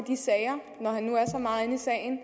sagen